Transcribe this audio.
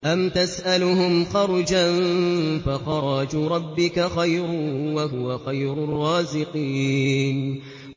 أَمْ تَسْأَلُهُمْ خَرْجًا فَخَرَاجُ رَبِّكَ خَيْرٌ ۖ وَهُوَ خَيْرُ الرَّازِقِينَ